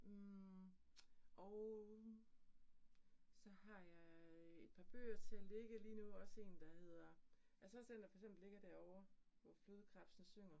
Hm og så har jeg et par bøger til at ligge lige nu også 1, der hedder altså også den, der for eksempel ligger derovre hvor flodkrebsene synger